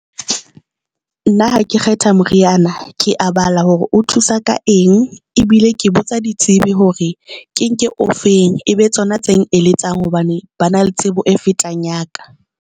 Nna ha ke kgetha moriana, ke a bala hore o thusa ka eng, ebile ke botsa ditsebi hore ke nke o feng, mme e be tsona tse eletsang hobane ba na le tsebo e fetang ya ka.